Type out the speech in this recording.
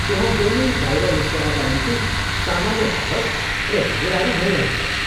त्यहाँ जहिल्यै बाहिर निस्कनका निम्ति सामान्य बहस र झगडाहरू भइरहन्छन्।